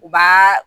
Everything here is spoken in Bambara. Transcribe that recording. U b'a